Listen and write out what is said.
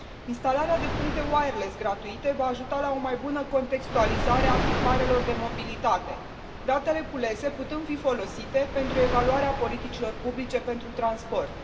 Instalarea de puncte wireless gratuite va ajuta la o mai bună contextualizare a tiparelor de mobilitate, datele culese putând fi folosite pentru evaluarea politicilor publice pentru transport.